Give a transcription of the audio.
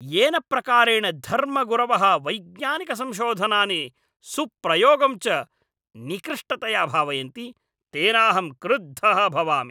येन प्रकारेण धर्मगुरवः वैज्ञानिकसंशोधनानि सुप्रयोगं च निकृष्टतया भावयन्ति तेनाहं क्रुद्धः भवामि।